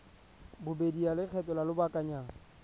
bobedi ya lekgetho la lobakanyana